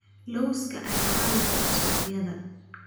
Lawska ayaa caan ka ah suuqayada.